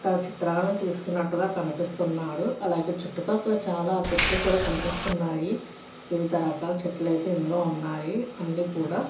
తాను చిత్రాలను తీస్తున్నట్టుగా కనిపిస్తున్నాడు అలాగే చుట్టూ పక్కల చాలా చెట్లు కూడా కనిపిస్తున్నాయి వివిధ రకాల చెట్లు అయితే ఇందులో ఉన్నాయి అన్నీ కూడా --